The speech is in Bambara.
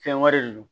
Fɛn wɛrɛ de don